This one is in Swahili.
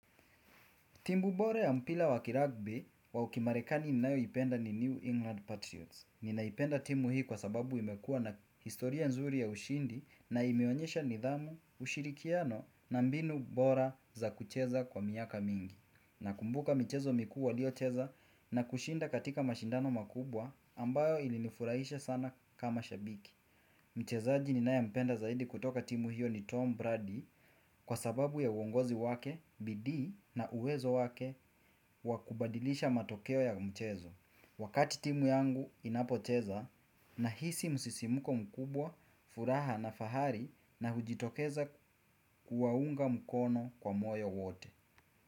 Timu bora ya mpira wa kiragbi wa ukimarekani ninayoipenda ni New England Patriots. Ninaipenda timu hii kwa sababu imekua na historia nzuri ya ushindi na imeonyesha nidhamu, ushirikiano na mbinu bora za kucheza kwa miaka mingi. Nakumbuka michezo mikuu waliocheza na kushinda katika mashindano makubwa ambayo ilinifurahisha sana kama shabiki. Michezaji ni naya mpenda zaidi kutoka timu hiyo ni Tom Brady kwa sababu ya uongozi wake, bidii na uwezo wake wa kubadilisha matokeo ya mchezo Wakati timu yangu inapocheza na hisi msisimuko mkubwa, furaha na fahari na hujitokeza kuwaunga mkono kwa moyo wote.